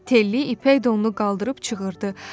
Telli ipək donunu qaldırıb çığırdı: